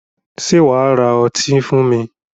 Sé wà á ra ọtí fún mi?